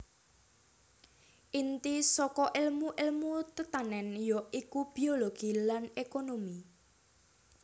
Inti saka èlmu èlmu tetanèn ya iku biologi lan ékonomi